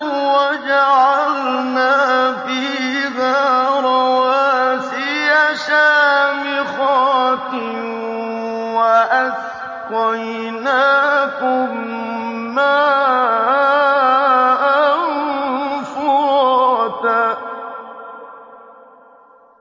وَجَعَلْنَا فِيهَا رَوَاسِيَ شَامِخَاتٍ وَأَسْقَيْنَاكُم مَّاءً فُرَاتًا